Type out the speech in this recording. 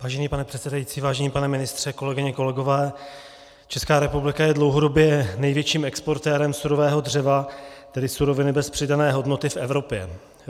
Vážený pane předsedající, vážený pane ministře, kolegyně, kolegové, Česká republika je dlouhodobě největším exportérem surového dřeva, tedy suroviny bez přidané hodnoty, v Evropě.